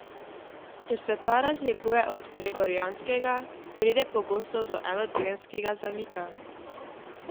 Ker se ta razlikuje od Gregorijanskega, pride pogosto do enotedenskega zamika.